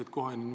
Aitäh!